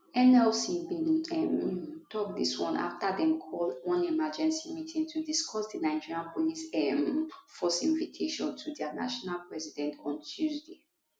nlc bin um tok dis one afta dem call one emergency meeting to discuss di nigeria police um force invitation to dia national president on tuesday